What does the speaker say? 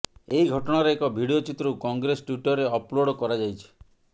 ଏହି ଘଟଣାର ଏକ ଭିଡିଓ ଚିତ୍ରକୁ କଂଗ୍ରେସ ଟ୍ୱିଟରରେ ଅପ୍ଲୋଡ୍ କରାଯାଇଛି